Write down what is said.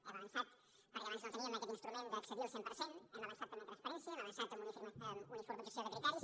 hem avançat perquè abans no teníem aquest instrument d’accedir al cent per cent hem avançat també en transparència hem avançat en uniformització de criteris